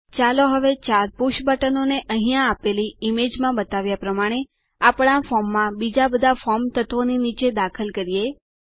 ચાલો હવે ચાર પુષ બટનોને અહીં આપેલી ઈમેજ છબીમાં બતાવ્યા પ્રમાણે આપણા ફોર્મમાંબીજા બધા ફોર્મ તત્વોની નીચે દાખલ કરો